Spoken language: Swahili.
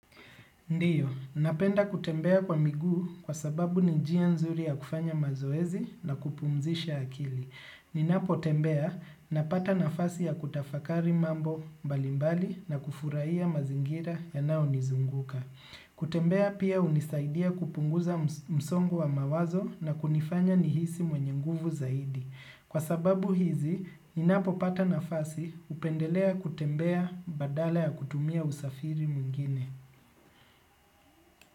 Ndio, napenda kutembea kwa miguu kwa sababu ni jia nzuri ya kufanya mazoezi na kupumzisha akili. Ninapotembea, napata nafasi ya kutafakari mambo mbalimbali na kufurahia mazingira yanayo nizunguka. Kutembea pia hunisaidia kupunguza msongo wa mawazo na kunifanya nihisi mwenye nguvu zaidi. Kwa sababu hizi, ninapopata nafasi hupendelea kutembea badala ya kutumia usafiri mwingine.